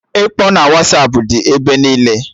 Ịkpọ na Wasapụ dị ebe niile